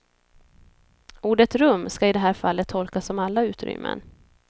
Ordet rum ska i det här fallet tolkas som alla utrymmen.